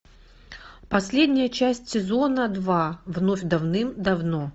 последняя часть сезона два вновь давным давно